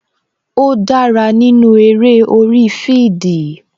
Ó dára nínú eré orí fidii